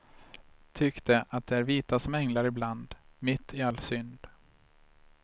Tyckte att de är vita som änglar ibland, mitt i all synd.